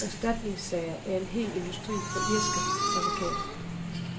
Erstatningssager er en hel industri for irske advokater.